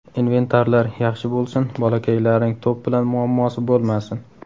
Inventarlar yaxshi bo‘lsin, bolakaylarning to‘p bilan muammosi bo‘lmasin.